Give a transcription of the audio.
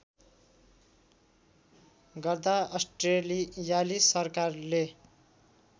गर्दा अस्ट्रेलियाली सरकारले